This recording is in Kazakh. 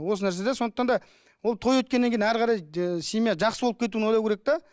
осы нәрсе де сондықтан да ол той өткеннен кейін әрі қарай семья жақсы болып кетуін ойлау керек те